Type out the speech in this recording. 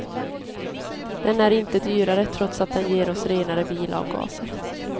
Den är inte dyrare, trots att den ger oss renare bilavgaser.